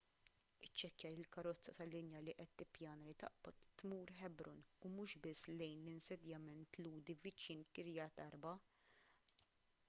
iċċekkja li l-karozza tal-linja li qed tippjana li taqbad tmur hebron u mhux biss lejn l-insedjament lhudi viċin kiryat arba